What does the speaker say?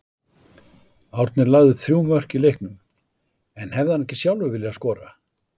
Árni lagði upp þrjú mörk í leiknum en hefði hann ekki sjálfur viljað skora?